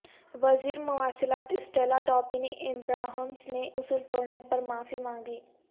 وزیر مواصلات Stella Ndabeni Abrahams نے اصول توڑنے پر معافی مانگی